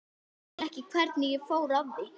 Skil ekki hvernig ég fór að því.